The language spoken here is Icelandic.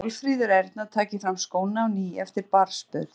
Að Málfríður Erna taki fram skóna á ný eftir barnsburð.